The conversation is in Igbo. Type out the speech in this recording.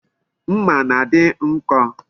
Mma na-adi nko